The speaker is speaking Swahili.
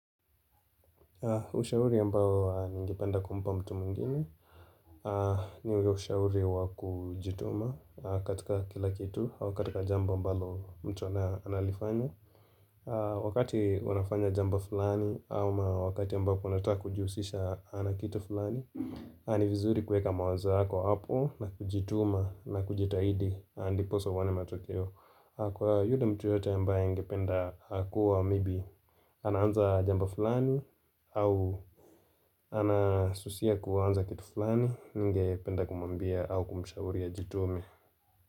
Ushauri ambao ningipenda kumba mtu mwingine ni ushauri wa kujituma katika kila kitu au katika jamba mbalo mtu analifanya Wakati wanafanya jambo fulani au ma wakati ya mbao kwunataka kujusisha na kitu fulani ni vizuri kueka mawaza hako hapo na kujituma na kujitahidi Andi posa uone matokeo Kwa yudi mtu yote ambaye angependa Kua maybe anaanza jambo fulani au anasusia kuanza kitu falani ninge penda kumwambia au kumushauri ajitome.